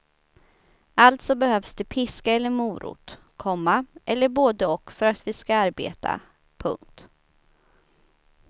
Alltså behövs det piska eller morot, komma eller både och för att vi ska arbeta. punkt